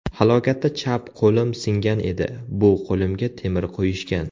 Halokatda chap qo‘lim singan edi, bu qo‘limga temir qo‘yishgan.